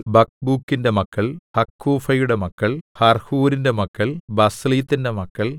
ബക്ക്ബൂക്കിന്റെ മക്കൾ ഹക്കൂഫയുടെ മക്കൾ ഹർഹൂരിന്റെ മക്കൾ ബസ്ലീത്തിന്റെ മക്കൾ